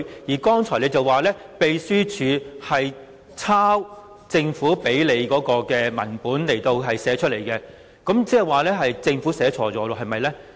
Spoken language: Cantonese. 你剛才說，秘書處的講稿從政府提供的文本抄寫過來，那麼，即是說政府寫錯了，是不是呢？